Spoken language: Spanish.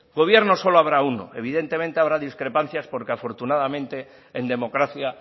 gobierno solo habrá uno evidentemente habrá discrepancias porque afortunadamente en democracia